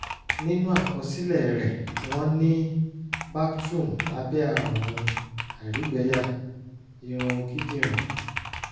nínú àkọsílẹ̀ rẹ̀ wọ́n ní bactrum lábẹ́ ààrùn àìrígbẹyà irun kíndìnrín